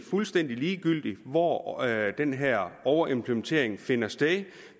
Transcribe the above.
fuldstændig ligegyldigt hvor den her overimplementering finder sted